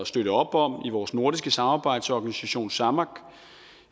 støtte op om i vores nordiske samarbejdsorganisation samak